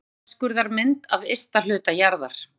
Stílfærð þverskurðarmynd af ysta hluta jarðar.